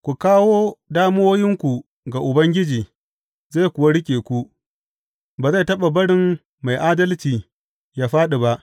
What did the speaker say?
Ku kawo damuwoyinku ga Ubangiji zai kuwa riƙe ku; ba zai taɓa barin mai adalci yă fāɗi ba.